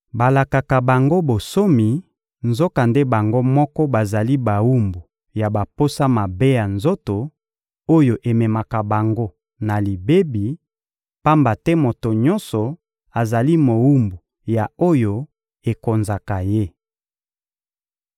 Balakaka bango bonsomi, nzokande bango moko bazali bawumbu ya baposa mabe ya nzoto, oyo ememaka bango na libebi; pamba te moto nyonso azali mowumbu ya oyo ekonzaka ye.